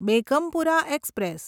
Begumpura express